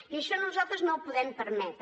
i això nosaltres no ho podem permetre